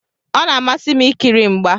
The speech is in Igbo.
Ọ na-amasị m ikiri mgba.